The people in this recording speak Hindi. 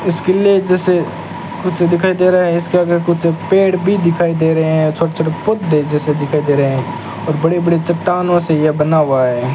इस किले जैसे कुछ दिखाई दे रहा है इसके आगे कुछ पेड़ भी दिखाई दे रहे हैं छोटे-छोटे पौधे जैसे दिखाई दे रहे हैं और बड़े-बड़े चट्टानों से यह बना हुआ है।